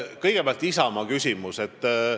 Kõigepealt Isamaast.